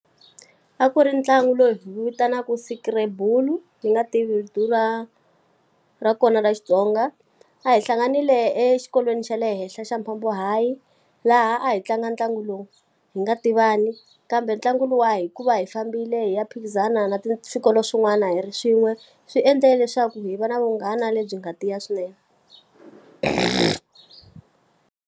A ku ri ntlangu lowu hi wu vitanaka Scrabble, ni nga tivi vito ra ra kona ra Xitsonga. A hi hlanganile exikolweni xa le henhla xa Mphambo High, laha a hi tlanga ntlangu lowu hi nga tivani. Kambe ntlangu luwa hi ku va hi fambile hi ya phikizana na swikolo swin'wana hi ri swin'we, swi endle leswaku hi va na vunghana lebyi nga tiya swinene.